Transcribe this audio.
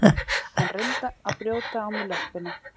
Hann reyndi að brjóta á mér löppina.